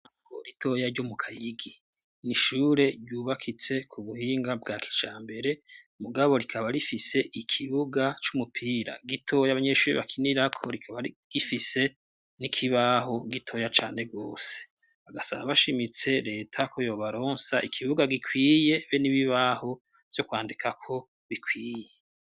Ishure ritoya ryo mu Kayigi, n'ishure ryubakitse ku buhinga bwa kijambere, mugabo rikaba rifise ikibuga c'umupira gitoya abanyeshuri bakinirako, rikaba rifise n'ikibaho gitoya cane gose, basaba bashimitse leta ko yobaronsa ikibuga gikwiye be n'ibibaho vyo kwandikako bikwiye.